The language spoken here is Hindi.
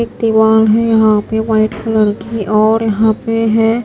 दीवार है यहां पे वाइट कलर की और यहां पे है।